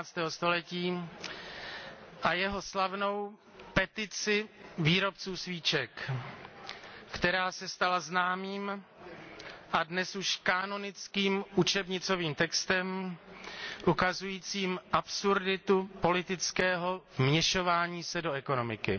19. století a jeho slavnou Petici výrobců svíček, která se stala známým a dnes už kánonickým učebnicovým textem, ukazujícím absurditu politického vměšování se do ekonomiky.